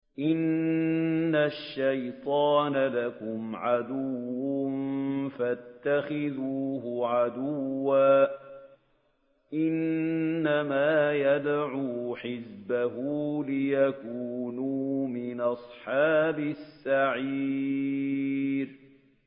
إِنَّ الشَّيْطَانَ لَكُمْ عَدُوٌّ فَاتَّخِذُوهُ عَدُوًّا ۚ إِنَّمَا يَدْعُو حِزْبَهُ لِيَكُونُوا مِنْ أَصْحَابِ السَّعِيرِ